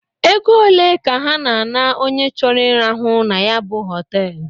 Ego olee ka ha na a na-onye choro irahụ na ya bụ họtelụ?